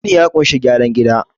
gini ya kunshi gyaran gida